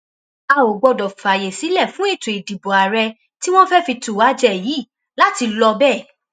a ò gbọdọ fààyè sílẹ fún ètò ìdìbò àárẹ tí wọn fẹẹ fi tú wa jẹ yìí láti lọ bẹẹ